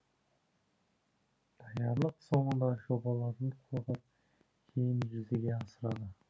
даярлық соңында жобаларын қорғап кейін жүзеге асырады